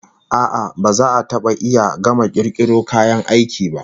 A'a, ba za a taba iya gama kirkiro kayan aiki ba.